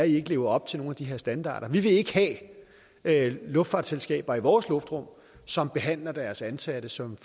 ikke lever op til de her standarder for vi vil ikke have luftfartsselskaber i vores luftrum som behandler deres ansatte som